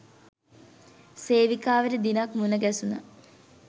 සේවිකාවට දිනක් මුණ ගැසුනා